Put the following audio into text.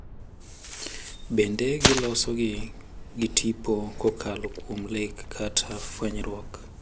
Bende giloso gi tipo kokalo kuom lek kata fwenyruok.